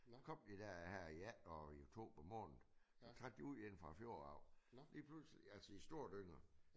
kom de der her i jan og i oktober måned trak de ud inde fra fjord af. Lige pludselig altså i store dynger